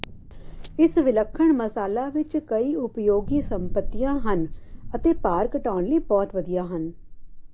ਇਸ ਵਿਲੱਖਣ ਮਸਾਲਾ ਵਿੱਚ ਕਈ ਉਪਯੋਗੀ ਸੰਪਤੀਆਂ ਹਨ ਅਤੇ ਭਾਰ ਘਟਾਉਣ ਲਈ ਬਹੁਤ ਵਧੀਆ ਹਨ